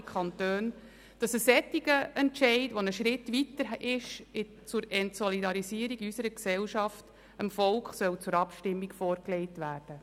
Er stellt einen weiteren Schritt zur Entsolidarisierung in unserer Gesellschaft dar und wird aus unserer Sicht leider auch eine negative Ausstrahlung auf andere Kantone haben.